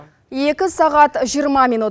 екі сағат жиырма минут